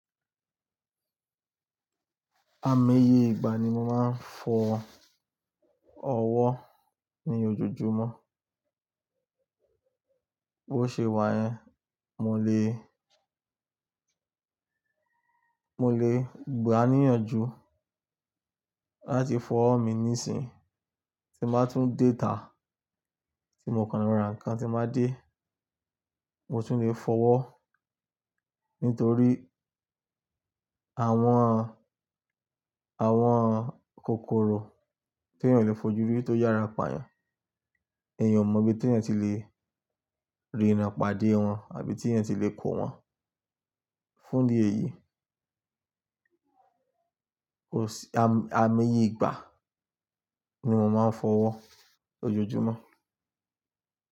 Àmoyẹ ìgbà ni mo máa ń fọ ọwọ́ ní ojoojúmọ́. Bo ṣe wà yẹn, mo lè gbaniyanju láti fọ́ mi níìsín. Tí máa tún déta, tí mo kanra nǹkan tí máa dé, mo tún lè fọwọ́. Nítorí, àwọn kòkòrò tí èèyàn lè fojú rí tó yára pá yàn. Èèyàn mọ bí te yàn tí lè ríi rán pàdé wọn, àbí tí yàn tí lè kó wọn. Fún dí èyí, Amoyẹ ìgbà ni mo máa ń fọwọ́ lójoojúmọ́.